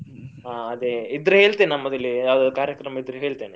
ಹ ಅದೆ ಇದ್ರೆ ಹೇಳ್ತೇನೆ ನಮ್ಮದಿಲ್ಲಿ ಯಾವುದಾದ್ರು ಕಾರ್ಯಕ್ರಮ ಇದ್ರೆ ಹೇಳ್ತೇನೆ.